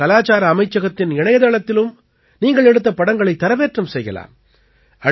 நீங்கள் கலாச்சார அமைச்சகத்தின் இணையத்தளத்திலும் நீங்கள் எடுத்த படங்களைத் தரவேற்றம் செய்யலாம்